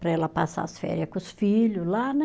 Para ela passar as féria com os filhos lá, né?